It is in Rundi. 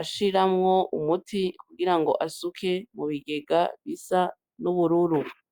ashiramwo umuti kugira ngo asuke mubigega bisa n' ubururu.